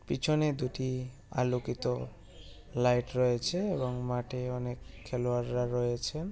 পিছনে দুটি আলোকিত লাইট রয়েছে এবং মাঠে অনেক খেলোয়াড়রা রয়েছেন।